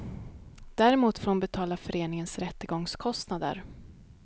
Däremot får hon betala föreningens rättegångskostnader.